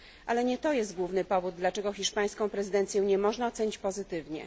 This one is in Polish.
Ale nie to jest główny powód, dlaczego hiszpańskiej prezydencji nie można ocenić pozytywnie.